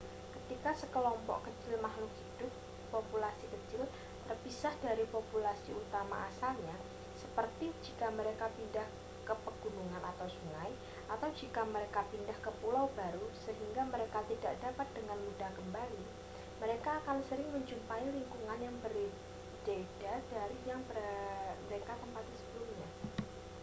ketika sekelompok kecil makhluk hidup populasi kecil terpisah dari populasi utama asalnya seperti jika mereka pindah ke pegunungan atau sungai atau jika mereka pindah ke pulau baru sehingga mereka tidak dapat dengan mudah kembali mereka akan sering menjumpai lingkungan yang berbeda dari yang mereka tempati sebelumnya